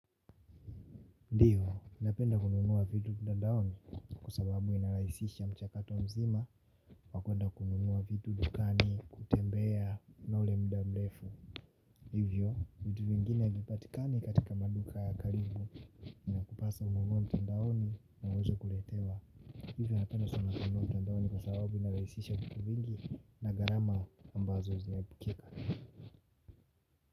Ndiyo, mimi napenda kununua vitu mtandaoni kwa sababu inalahisisha mchakato mzima wa kuenda kununua vitu dukani kutembea na ule mda mlefu. Hivyo, vitu vingine havipatikani katika maduka ya karibu, inakupasa ununue mtandaoni na uweze kuletewa. Hivyo, napenda sana kanunua mtandaoni kwa sababu inarahisisha vitu vingi na gharama ambazo zimeepukika.